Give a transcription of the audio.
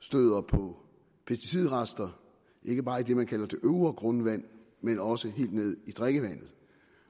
støder på pesticidrester ikke bare i det man kalder det øvre grundvand men også helt ned i drikkevandet